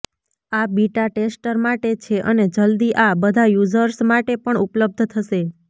આ beta tester માટે છે અને જલ્દી આ બધા યુઝર્સ માટે પણ ઉપલબ્ધ થશે